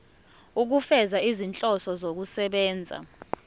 ukufeza izinhloso zokusebenzisa